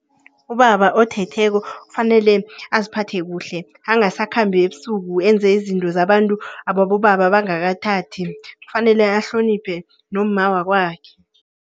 Ubaba othetheko kufanele aziphathe kuhle. Angasakhambi ebusuku, enze izinto zabantu ababobaba abangakathathi. Kufanele ahloniphe nomma wakwakhe.